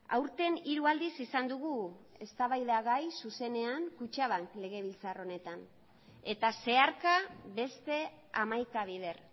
aurten hiru aldiz izan dugu eztabaidagai zuzenean kutxabank legebiltzar honetan eta zeharka beste hamaika bider